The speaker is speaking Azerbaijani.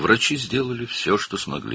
Həkimlər əllərindən gələni etdilər.